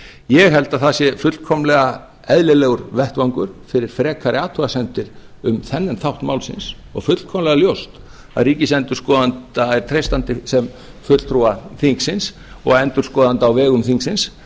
ég held að það sé fullkomlega eðlilegur vettvangur fyrir frekari athugasemdir um þennan þátt málsins og fullkomlega ljóst að ríkisendurskoðanda er treystandi sem fulltrúa þingsins og endurskoðanda á vegum þingsins